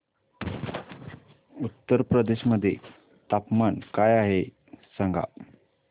उत्तर प्रदेश मध्ये तापमान काय आहे सांगा